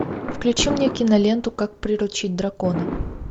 включи мне киноленту как приручить дракона